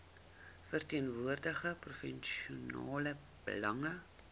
verteenwoordig provinsiale belange